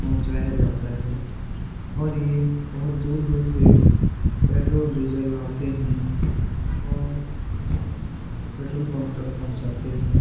पहुंचाया जाता है और ये बहोत दूर-दूर से पेट्रोल डीजल लाते हैं और पेट्रोल पंप तक पहुंचाते हैं।